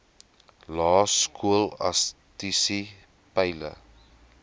lae skolastiese peile